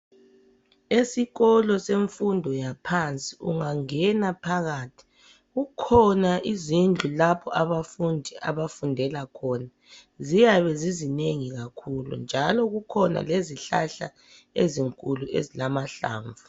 Esikolo semfundo yaphansi ungangena phakathi kukhona izindlu lapho abafundi abafundela khona. Ziyabe zizinengi kakhulu njalo kukhona lezihlahla ezinkulu ezilamahlamvu.